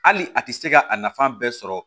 Hali a tɛ se ka a nafa bɛɛ sɔrɔ